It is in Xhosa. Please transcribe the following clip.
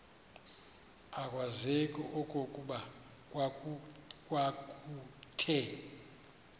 akwazeki okokuba kwakuthe